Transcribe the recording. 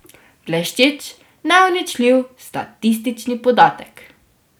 Bleščeč, neuničljiv statistični podatek.